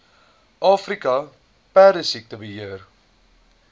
afrika perdesiekte beheer